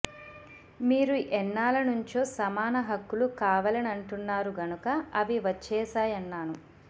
మీరు ఎన్నాళ్ల నుంచో సమాన హక్కులు కావాలెనంటున్నారు గనుక అవి వచ్చేశాయన్నాను